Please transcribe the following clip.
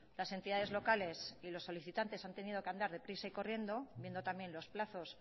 las entidades locales y los solicitantes han tenido que andar deprisa y corriendo viendo también los plazos